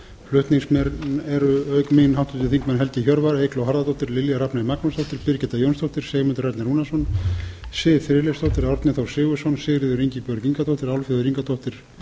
flutningsmenn eru auk mín háttvirtir þingmenn helgi hjörvar eygló harðardóttir lilja rafney magnúsdóttir birgitta jónsdóttir sigmundur ernir rúnarsson siv friðleifsdóttir árni þór sigurðsson sigríður ingibjörg ingadóttir álfheiður ingadóttir